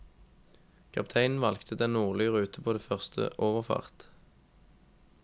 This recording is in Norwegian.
Kapteinen valgte den nordlige rute på den første overfart.